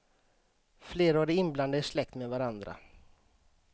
Flera av de inblandade är släkt med varandra.